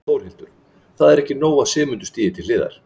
Þórhildur: Það er ekki nóg að Sigmundur stígi til hliðar?